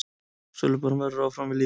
Sölubann verður áfram við lýði.